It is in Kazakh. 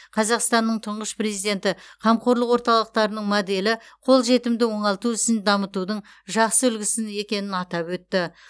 қазақстанның тұңғыш президенті қамқорлық орталықтарының моделі қолжетімді оңалту ісін дамытудың жақсы үлгісін екенін атап өтті